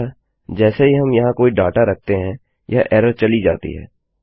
अतः जैसे ही हम यहाँ कोई डाटा रखते हैं यह एरर चली जाती है